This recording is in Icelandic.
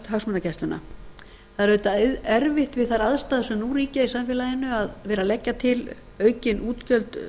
hagsmunagæsluna það er auðvitað erfitt við þær aðstæður sem nú ríkja í samfeálginu að vera að leggja til aukin útgjöld